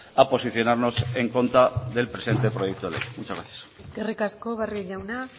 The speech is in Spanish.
a posicionarnos en contra del presente proyecto de ley muchas gracias eskerrik asko barrio jauna